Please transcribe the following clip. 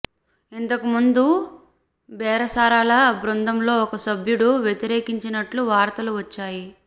ఇంతకు ముందు బేరసారాల బృందంలో ఒక సభ్యుడు వ్యతిరేకించినట్టు వార్తలు వచ్చాయి